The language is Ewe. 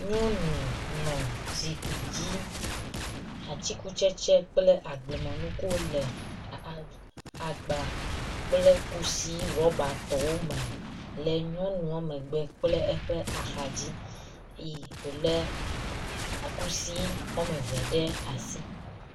Nyɔnu nɔ zikpui dzi. atikutsetse kple agblemenukuwo le a agba kple kusi ɖɔbatɔwo me le nyɔnua megbe kpe eƒe axadzi eye wo le kusi wɔme eve ɖe asi.